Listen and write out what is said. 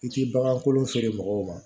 I ti bagan kolon feere mɔgɔw ma